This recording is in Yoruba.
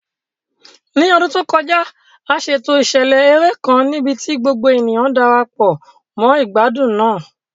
Ní ọdún tó kọjá, a ṣètò ìṣẹ̀lẹ̀ eré kan níbi tí gbogbo ènìyàn Darapọ̀ mọ́ ìgbádùn náà.